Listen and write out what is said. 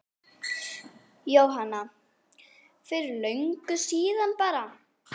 Jóhanna: Fyrir löngu síðan bara?